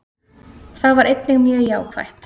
Það var einnig mjög jákvætt